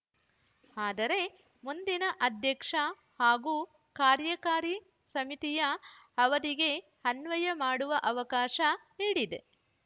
ಆದರೆ ಮುಂದಿನ ಅಧ್ಯಕ್ಷ ಹಾಗೂ ಕಾರ್ಯಕಾರಿ ಸಮಿತಿಯ ಅವಧಿಗೆ ಅನ್ವಯ ಮಾಡುವ ಅವಕಾಶ ನೀಡಿದೆ